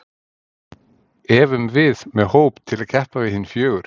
Efum við með hóp til að keppa við hin fjögur?